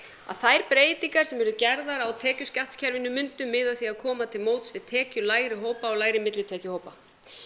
að þær breytingar sem yrðu gerðar á tekjuskattskerfinu myndu miða að því að koma til móts við tekjulægri hópa og lægri millitekjuhópa